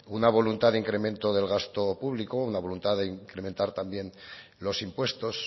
una voluntad de incremento del gasto público una voluntad de incrementar también los impuestos